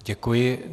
Děkuji.